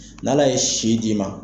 N'ale ye si d'i ma.